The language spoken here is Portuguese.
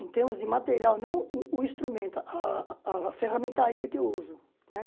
Em termos de material, não o instrumento, a a ferramentaria que eu uso, né?